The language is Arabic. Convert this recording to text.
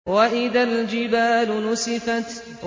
وَإِذَا الْجِبَالُ نُسِفَتْ